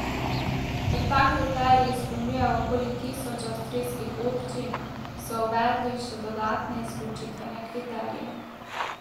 Ker ta kriterij izpolnjuje okoli tisoč avstrijskih občin, so uvedli še dodatne, izključitvene kriterije.